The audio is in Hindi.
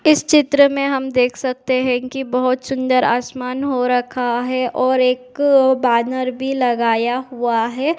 इस चित्र में हम देख सकते हैं की बहुत सुंदर आसमान हो रखा है और एक बैनर भी लगाया हुआ है।